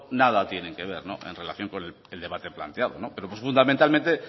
nada tienen que ver en relación con el debate planteado no pues fundamentalmente